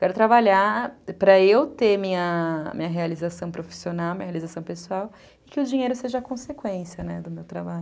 quero trabalhar para eu ter minha realização profissional, minha realização pessoal, e que o dinheiro seja consequência, né, do meu trabalho.